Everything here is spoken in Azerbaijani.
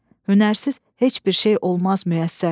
Hünərsiz heç bir şey olmaz müyəssər."